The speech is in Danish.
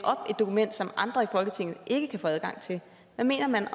et dokument op som andre i folketinget ikke kan få adgang til hvad mener man